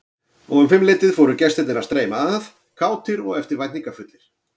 Og um fimmleytið fóru gestirnir að streyma að, kátir og eftirvæntingarfullir.